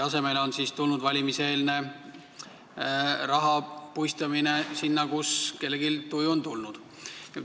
Asemele on tulnud valimiseelne raha puistamine sinna, kuhu kellelgi tuju on olnud.